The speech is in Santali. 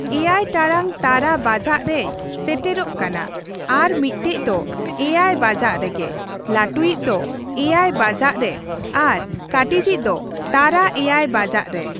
ᱮᱭᱟᱭ ᱴᱟᱲᱟᱝ ᱛᱟᱨᱟ ᱵᱟᱡᱟᱜ ᱨᱮᱭ ᱥᱮᱴᱮᱨᱚᱜ ᱠᱟᱱᱟ ᱾ ᱟᱨ ᱢᱤᱫᱴᱮᱡ ᱫᱚ ᱮᱭᱟᱭ ᱵᱟᱡᱟᱜ ᱨᱮᱜᱮ, ᱞᱟᱹᱴᱩᱭᱤᱡ ᱫᱚ ᱮᱭᱟᱭ ᱵᱟᱡᱟᱜ ᱨᱮ ᱟᱨ ᱠᱟᱹᱴᱤᱡ ᱤᱡ ᱫᱚ ᱛᱟᱨᱟ ᱮᱭᱟᱭ ᱵᱟᱡᱟᱜ ᱨᱮ ᱾